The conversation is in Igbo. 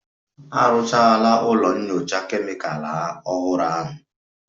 A rụchara ụlọ nyocha Kemịkalụ ọhụrụ ahụ